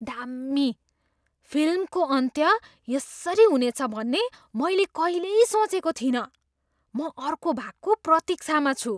दामी! फिल्मको अन्त्य यसरी हुनेछ भन्ने मैले कहिल्यै सोचेको थिइनँ। म अर्को भागको प्रतिक्षामा छु।